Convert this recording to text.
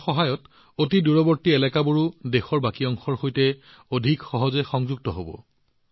ইয়াৰ সহায়ত আনকি দূৰৱৰ্তী অঞ্চলবোৰো দেশৰ বাকী অংশৰ সৈতে অধিক সহজে সংযুক্ত হব